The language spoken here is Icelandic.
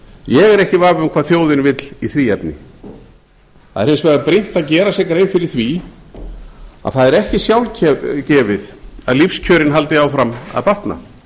ég er ekki í vafa um hvað þjóðin vill í því efni það er hins vegar brýnt að gera sér grein fyrir því að það er ekki sjálfgefið að lífskjörin haldi áfram að batna